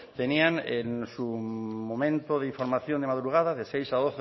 tenían en su momento de información de madrugada de seis a